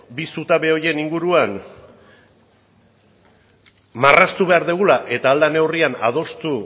bi zutabe horien inguruan marraztu behar dugula eta ahal den neurrian adostu